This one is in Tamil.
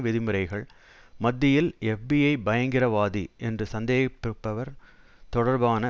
விதிமுறைகள் மத்தியில் எப்பிஐ பயங்கிரவாதி என்று சந்தேகிப்பவர் தொடர்பான